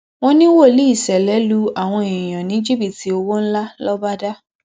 wọn ní wòlíì ṣẹlẹ lu àwọn èèyàn ní jìbìtì owó ńlá lọbàdà